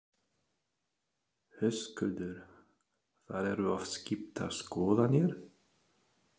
Höskuldur: Það eru oft skiptar skoðanir?